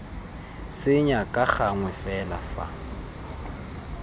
senya ka gangwe fela fa